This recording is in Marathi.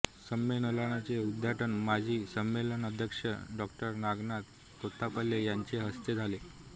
संमेलनाचे उद्घाटन माजी संमेलनाध्यक्ष डॉ नागनाथ कोत्तापल्ले यांच्या हस्ते झाले